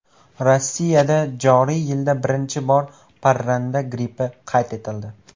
Rossiyada joriy yilda birinchi bor parranda grippi qayd etildi.